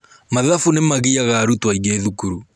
Mathabu nĩgagiaga arutuo aingĩ thukuru.